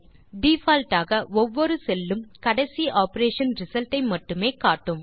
default ஆக ஒவ்வொரு cell உம் கடைசி ஆப்பரேஷன் ரிசல்ட் ஐ மட்டுமே காட்டும்